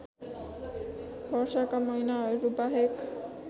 वर्षाका महिनाहरू बाहेक